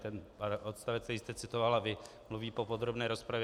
Ten odstavec, který jste citovala vy, mluví po podrobné rozpravě.